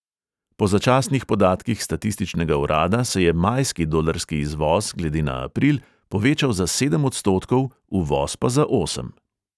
Po začasnih podatkih statističnega urada se je majski dolarski izvoz glede na april povečal za sedem odstotkov, uvoz pa za osem.